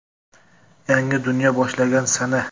Yangi dunyo boshlangan sana.